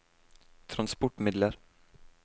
transportmidler